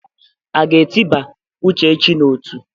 A ga-etịba Uchechi n'ọtú?